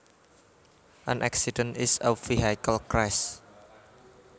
An accident is a vehicle crash